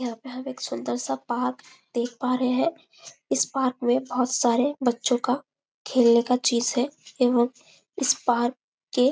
यहाँ पे हम एक सुंदर सा पार्क देख पा रहे है इस पार्क में बहोत सारे बच्चों का खेलने का चीज है एवं इस पार्क के--